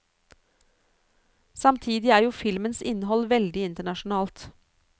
Samtidig er jo filmens innhold veldig internasjonalt.